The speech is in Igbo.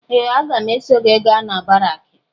Ee! Agam eso gị gaa na baraakị.